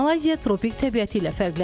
Malayziya tropik təbiəti ilə fərqlənir.